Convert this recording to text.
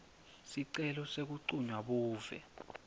sicelo sekuncunywa buve